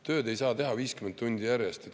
Tööd ei saa teha 50 tundi järjest.